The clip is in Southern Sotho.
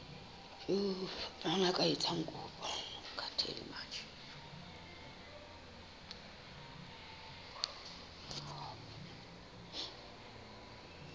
mang ya ka etsang kopo